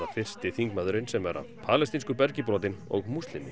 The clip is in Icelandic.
fyrsti þingmaðurinn sem er af palestínsku bergi brotinn og múslimi